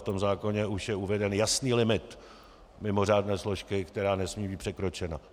V tom zákoně už je uveden jasný limit mimořádné složky, která nesmí být překročena.